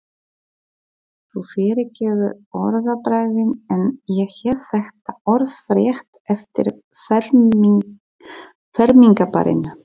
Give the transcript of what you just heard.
Þú fyrirgefur orðbragðið en ég hef þetta orðrétt eftir fermingarbarninu.